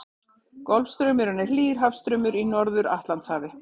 Golfstraumurinn er hlýr hafstraumur í Norður-Atlantshafi.